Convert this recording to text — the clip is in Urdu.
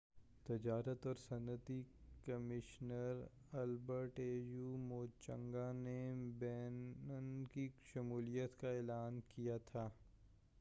au تجارت اور صنعتی کمیشنر البرٹ موچانگا نے بینن کی شمولیت کا اعلان کیا تھا